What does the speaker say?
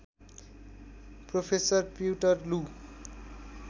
professor पिउँटर लू